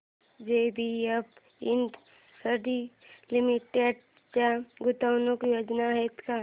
JBF industries limited च्या गुंतवणूक योजना आहेत का